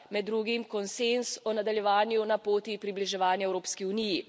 Med drugim konsenz o nadaljevanju na poti približevanja Evropski uniji.